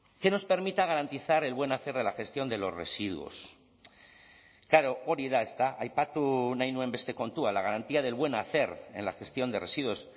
que nos permita garantizar el buen hacer de la gestión de los residuos klaro hori da ezta aipatu nahi nuen beste kontua la garantía del buen hacer en la gestión de residuos